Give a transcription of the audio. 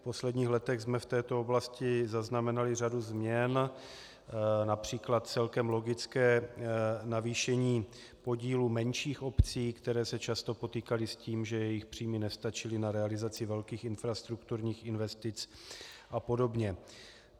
V posledních letech jsme v této oblasti zaznamenali řadu změn, například celkem logické navýšení podílu menších obcí, které se často potýkaly s tím, že jejich příjmy nestačily na realizaci velkých infrastrukturních investic a podobně.